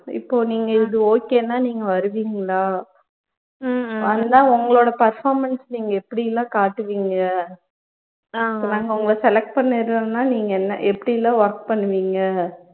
இப்போ நீங்க இது okay ன்னா நீங்க வருவிங்களா வந்தா உங்களோட performance நீங்க எப்படியெல்லாம் காட்டுவிங்க நாங்க உங்கள select பண்ணிடுறோம்னா நீங்க என்ன எப்படியெல்லாம் work பண்ணுவிங்க